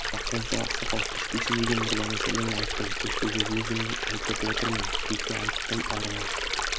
уа құлыншақ ақсақал көшпесін деген мырзаңның сәлемін айттым көшпе деп өзім айтып отырмын жете айттым арыла